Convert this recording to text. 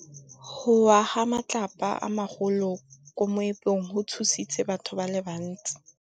Go wa ga matlapa a magolo ko moepong go tshositse batho ba le bantsi.